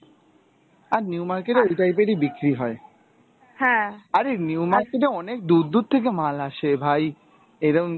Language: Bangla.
আর new market এ ওই type এরই বিক্রি হয়. আরে new market এ অনেক দুর দুর থেকে মাল আসে ভাই, এরম